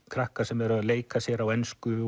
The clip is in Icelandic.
krakka sem eru að leika sér á ensku